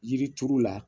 Yiri turu la